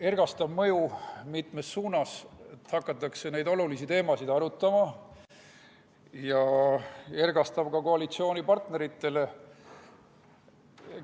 Ergastav mõju mitmes suunas: hakatakse neid olulisi teemasid arutama ja ergastav on see ka koalitsioonipartneritele.